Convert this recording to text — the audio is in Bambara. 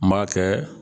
N b'a kɛ